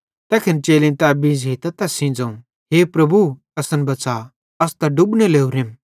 तैखन चेलेईं तै बींझ़ेइतां तैस सेइं ज़ोवं हे प्रभु असन बच़ा अस त डुबने लोरेम